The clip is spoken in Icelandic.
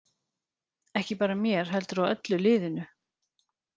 Ekki bara mér heldur á öllu liðinu.